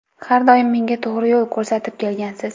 Har doim menga to‘g‘ri yo‘l ko‘rsatib kelgansiz.